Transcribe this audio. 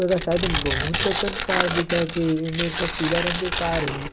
बहुत कन कार दिखत हे एक्टन पीला रंग के हे ।